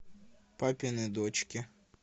папины дочки